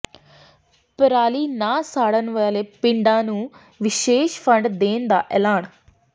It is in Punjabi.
ਪਰਾਲੀ ਨਾ ਸਾੜਨ ਵਾਲੇ ਪਿੰਡਾਂ ਨੂੰ ਵਿਸ਼ੇਸ਼ ਫੰਡ ਦੇਣ ਦਾ ਐਲਾਨ